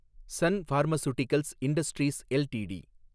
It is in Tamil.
Sun pharmaceuticals industries LTD